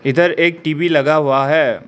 इधर एक टी_वी लगा हुआ है।